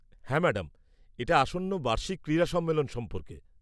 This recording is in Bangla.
হ্যাঁ ম্যাডাম, এটা আসন্ন বার্ষিক ক্রীড়া সম্মেলন সম্পর্কে।